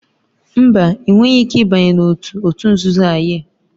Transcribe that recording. Mba, ị nweghị ike ịbanye n'otu òtù nzuzo Aye